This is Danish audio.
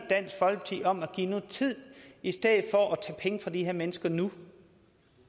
dansk folkeparti om at giver tid i stedet for at tage penge fra de her mennesker nu